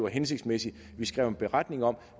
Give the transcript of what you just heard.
hensigtsmæssigt at vi skrev en beretning om